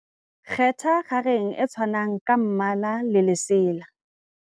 kgetha kgareng e tshwanang ka mmala le lesela